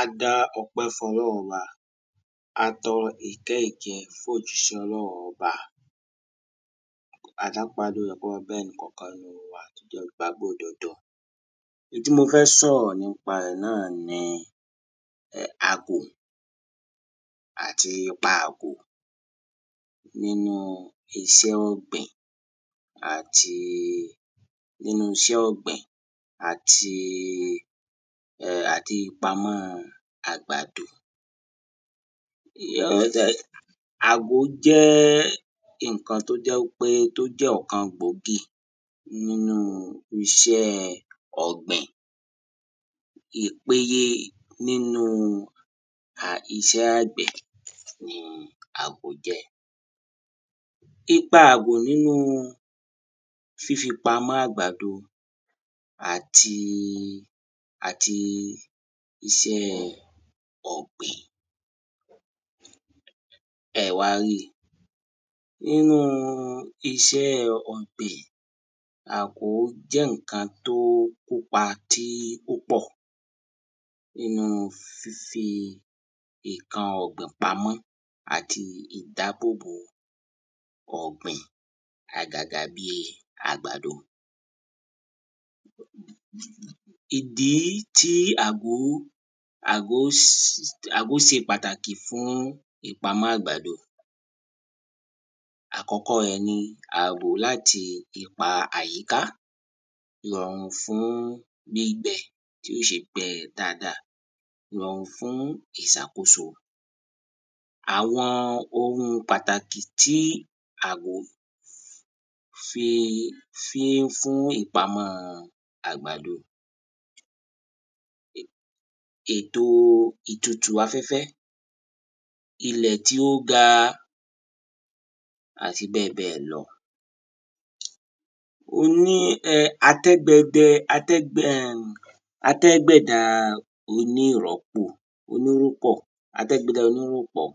Ā dá ọ̄pẹ́ fún ọ̄lọ́ūn ọ̄bā ā tọ̄rọ̄ ìtẹ́ ìkẹ́ fún òjíṣẹ́ ọ̄lọ́aūn ọ̄bā N̄ tí mō fẹ́ sọ̀rọ̀ nípā rẹ̀ náànī ūm àgò àtī īpā àgò nínú īsẹ́ ọ̀gbìn àtī nínú īsẹ́ ọ̀gbìn àtī [ūm]àtī ìpāmọ́ àgbàdō. Àgò jẹ́ n̄ǹkān tó jẹ́ wípé ọ̀kān gbòógì nínú īsẹ́ ọ̀gbìn ìpēyē nínú um īṣẹ́ àgbẹ̀ nī àgò jẹ́. Īpā àgò nínú fífī pāmọ́ àgbàdō àtī àtī īsẹ́ ọ̀gbìn. ẹ̄ wā rí nínú īsẹ́ ọ̀gbìn àgò jẹ́ n̄ǹkān tó kópā ti o pọ̀ nínú fífī n̄ǹkān ọ̀gbìn pāmọ́ àtī ìdábò bò ọ̀gbìn àgàgà bí àgbàdō. ìdí tí àgò àgò àgò sē pàtàkì fún ìpāmọ́ àgbàdō: àkọ́kọ́ rẹ̀ nī àbò látī īpā àyíká, ìrọ̀rùn fún gbígbẹ̄ tí ó ṣē gbẹ̄ dáādā, ìrọ̀rùn fún ìsàkósō. Àwọ̄n ōhūn pàtàkì tí àgò fī fí ń fún ìpāmọ́ àgbàdō: ètò ìtūtù āfẹ́fẹ́, īlẹ̀ tí ó gā, àtī bẹ́ẹ̀ bẹ́ẹ̀ lọ̄ ó. Oní ātẹ́gbẹ̄dẹ̄ ātẹ́ [ūm] ātẹ́gbẹ̀dá ōnírọ̀kpọ́ ātẹ́gbẹ̀dá ōníròpọ̀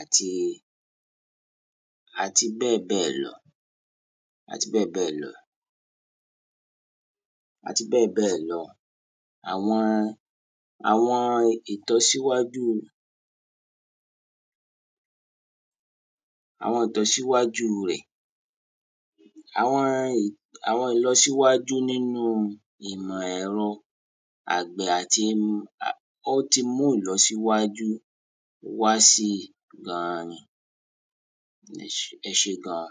àtī àtī bẹ́ẹ̀ bẹ́ẹ̀ lọ̄ àtī bẹ́ẹ̀ bẹ́ẹ̀ lọ̄. àtī bẹ́ẹ̀ bẹ́ẹ̀ lọ̄. Àwọ̄n àwọ̄n ìtọ́síwájú àwọ̄n ìtọ́síwájú rẹ̀ àwọ̄n ìlọ̄ àwọ̄n ìlọ̄síwájú nínú ìmọ̀ ẹ̀rọ̄ àgbẹ̀ àtī ó tī mú ìlọ̄síwájú wá sí gān ni. ẹ̄ṣé ẹ̄ṣé gān.